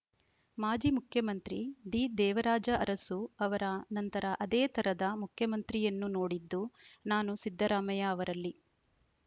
ಮಾಜಿ ಮುಖ್ಯಮಂತ್ರಿ ಡಿದೇವರಾಜ ಅರಸು ಅವರ ನಂತರ ಅದೇ ತರದ ಮುಖ್ಯಮಂತ್ರಿಯನ್ನು ನೋಡಿದ್ದು ನಾನು ಸಿದ್ದರಾಮಯ್ಯ ಅವರಲ್ಲಿ